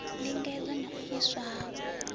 ndingedzo na u iswa ha